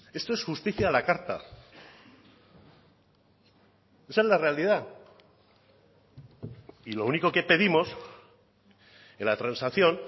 esto es justicia a la carta esa es la realidad y lo único que pedimos en la transacción